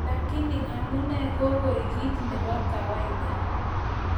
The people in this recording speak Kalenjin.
Lakini amune kokoek kit nebo kawaida?